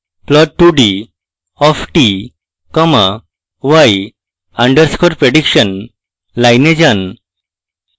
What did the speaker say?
plot2d of t comma y underscore prediction line যান